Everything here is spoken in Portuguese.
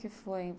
que foi?